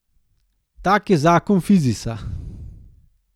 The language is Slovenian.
Tak je zakon fizisa.